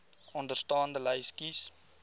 onderstaande lys kies